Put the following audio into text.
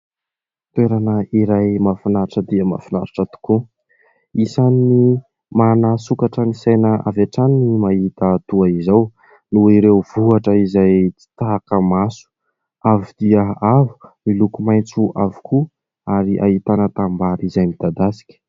Toerana iray mahafinaritra dia mahafinaritra tokoa. Isany manasokatra ny saina avy atrany ny mahita toa izao noho ireo vohitra izay tsy taka maso. Avo dia avo miloko maintso avokoa ary ahitana tanim-bary izay midadasika.